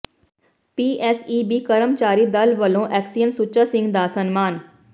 PSEB ਕਰਮਚਾਰੀ ਦਲ ਵੱਲੋਂ ਐਕਸੀਅਨ ਸੁੱਚਾ ਸਿੰਘ ਦਾ ਸਨਮਾਨ